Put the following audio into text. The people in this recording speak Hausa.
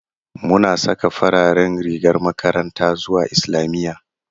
Muna saka fararen rigar makaranta zuwa islamiyya